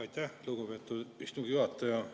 Aitäh, lugupeetud istungi juhataja!